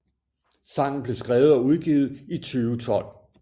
Sangen blev skrevet og udgivet i 2012